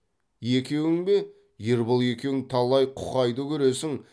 екеуің бе ербол екеуің талай құқайды көресің